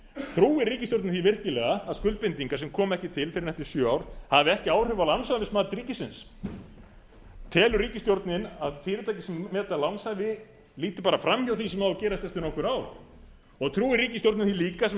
trúir ríkisstjórnin því virkilega að skuldbindingar sem koma ekki til fyrr en eftir sjö ár hafi ekki áhrif á lánshæfismat ríkisins telur ríkisstjórnin að fyrirtæki sem meta lánshæfi líti bara fram hjá því sem á að gerast eftir nokkur ár og trúir ríkisstjórnin því líka sem